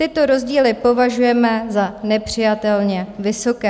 Tyto rozdíly považujeme za nepřijatelně vysoké.